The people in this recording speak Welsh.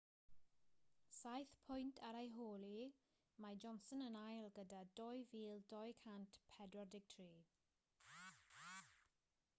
saith pwynt ar ei hôl hi mae johnson yn ail gyda 2,243